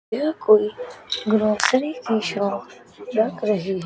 यह कोई ग्रॉसरी की शॉप लग रही--